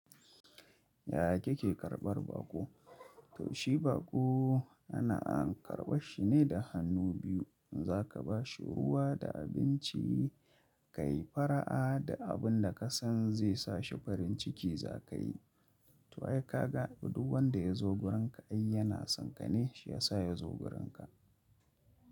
Yaya kike karɓar baƙo? To shi baƙo ana karɓar shi ne da hannu biyu. In za ka ba shi ruwa da abinci, ka yi fara'a da abin da ka san zai sa shi farin ciki za ka yi. To ai ka ga, duk wanda ya zo wurinka ai yana tsinkane, shi ya sa ya zo wurinka.